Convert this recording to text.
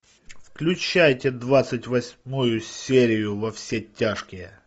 включайте двадцать восьмую серию во все тяжкие